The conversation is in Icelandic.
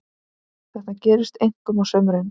Þetta gerist einkum á sumrin.